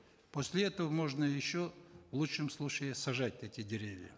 после этого можно еще в лучшем случае сажать эти деревья